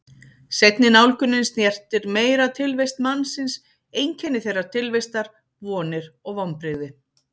Seinni nálgunin snertir meira tilvist mannsins, einkenni þeirrar tilvistar, vonir og vonbrigði.